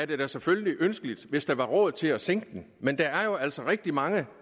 det da selvfølgelig ønskeligt hvis der var råd til at sænke den men der er jo altså rigtig mange